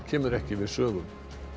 kemur ekki við sögu